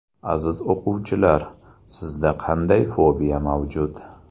Aziz o‘quvchilar, sizda qanday fobiya mavjud?